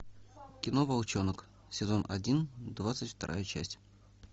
кино волчонок сезон один двадцать вторая часть